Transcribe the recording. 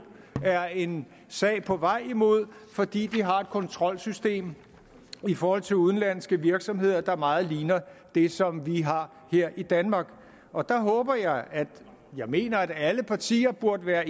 er en sag på vej imod fordi de har et kontrolsystem i forhold til udenlandske virksomheder der meget ligner det som vi har her i danmark og der håber jeg at i jeg mener at alle partier burde være